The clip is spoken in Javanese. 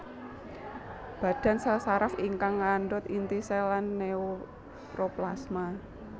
Badan sèl saraf ingkang ngandhut inti sèl lan neuroplasma